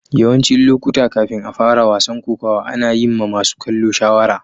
Yawancin lokuta, kafin a fara wasan kokawa, ana yin ma masun kallo shawara.